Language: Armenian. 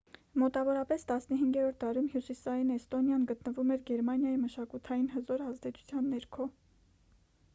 մոտավորապես 15-րդ դարում հյուսիսային էստոնիան գտնվում էր գերմանիայի մշակութային հզոր ազդեցության ներքո